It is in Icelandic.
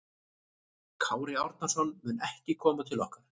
Kári Árnason mun ekki koma til okkar.